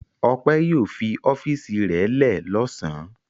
Ọpẹ́ yóò fi ọ́fíísì rẹ̀ lẹ́ ẹ̀ lọ́sàn-án.